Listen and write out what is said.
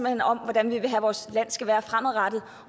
hen om hvordan vi vil have vores land skal være fremadrettet